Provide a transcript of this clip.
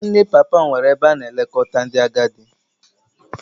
Nwanne papa m nwere ebe a na-elekọta ndị agadi